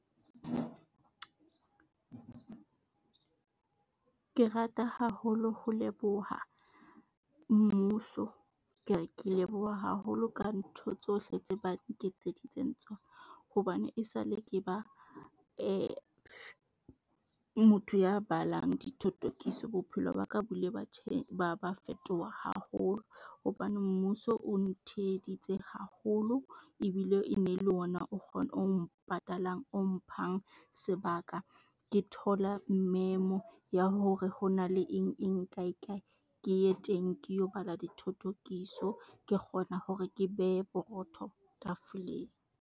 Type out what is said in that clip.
Ke rata haholo ho leboha mmuso, ke re ke leboha haholo ka ntho tsohle tse ba nketseditseng tsona. Hobane esale ke ba motho ya balang dithothokiso bophelo ba ka bo ile ba ba ba fetoha haholo. Hobane mmuso o ntheheditse haholo ebile e ne le ona o o ng patalang, o mphang sebaka. Ke thola memo ya hore ho na le eng eng, kae, kae ke ye teng ke lo bala dithothokiso, ke kgona hore ke behe borotho tafoleng.